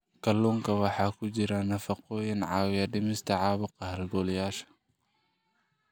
Kalluunka waxaa ku jira nafaqooyin caawiya dhimista caabuqa halbowlayaasha.